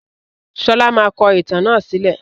Sọlá máa kọ ìtàn náà sílẹ̀